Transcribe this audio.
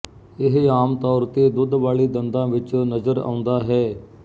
ਇਹ ਆਮ ਤੌਰ ਤੇ ਦੁੱਧ ਵਾਲੇ ਦੰਦਾਂ ਵਿੱਚ ਨਜ਼ਰ ਆਉਂਦਾ ਹੈ